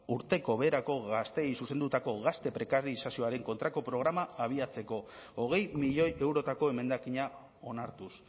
urteko beherako gazteei zuzendutako gazte prekarizazioaren kontrako programa abiatzeko hogei milioi eurotako emendakina onartuz